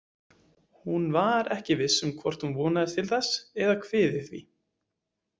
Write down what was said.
Hún var ekki viss um hvort hún vonaðist til þess eða kviði því.